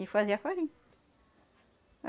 E fazia farinha.